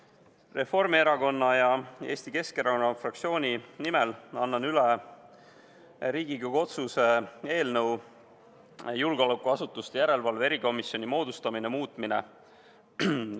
Eesti Reformierakonna ja Eesti Keskerakonna fraktsiooni nimel annan üle Riigikogu otsuse "Riigikogu otsuse "Julgeolekuasutuste järelevalve erikomisjoni moodustamine" muutmine" eelnõu.